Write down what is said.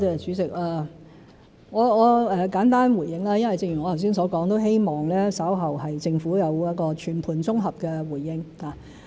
主席，我簡單回應，因為正如我剛才所說，都希望稍後政府有一個全盤綜合的回應。